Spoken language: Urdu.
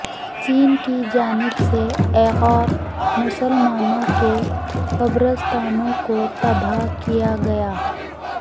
چین کی جانب سے ایغور مسلمانوں کے قبرستانوں کو تباہ کیاگیا